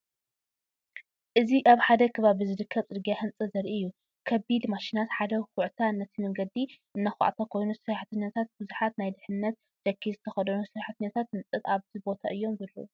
እዚ ኣብ ሓደ ኸባቢ ዝርከብ ጽርግያ ህንጸት ዘርኢ እዩ። ከቢድ ማሽናት ሓደ ዅዕታ ነቲ መገዲ እናኮዓቶ ኮይኑ ሰራሕተኛታት ብዙሓት ናይ ድሕንነት ጃኬት ዝተኸድኑ ሰራሕተኛታት ህንጸት ኣብቲ ቦታ እዮም ዘለዉ።